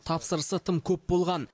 тапсырысы тым көп болған